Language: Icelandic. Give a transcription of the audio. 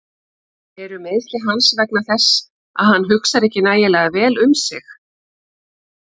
Eru meiðsli hans vegna þess að hann hugsar ekki nægilega vel um sig?